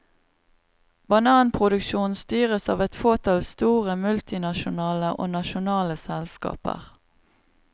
Bananproduksjonen styres av et fåtall store, multinasjonale og nasjonale selskaper.